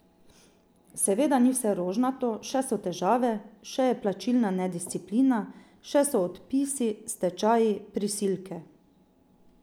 Seveda ni vse rožnato, še so težave, še je plačilna nedisciplina, še so odpisi, stečaji, prisilke.